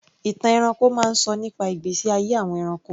Ìtàn ẹranko máa ń sọ nípa ìgbésí ayé àwọn ẹranko.